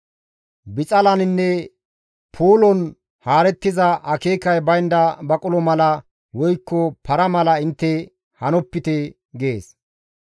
Bixalaninne puulon haarettiza akeekay baynda baqulo mala woykko para mala intte hanopite» gees.